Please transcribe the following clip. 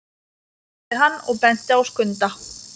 spurði hann og benti á Skunda.